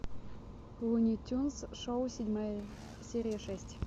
луни тюнз шоу седьмая серия шесть